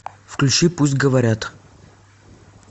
включи пусть говорят